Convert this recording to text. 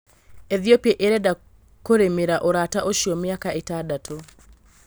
Ethiopia ĩrenda kũrĩmĩra urata ũcio mĩaka ĩtandatũ